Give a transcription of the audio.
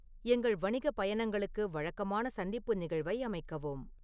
எங்கள் வணிக பயணங்களுக்கு வழக்கமான சந்திப்பு நிகழ்வை அமைக்கவும்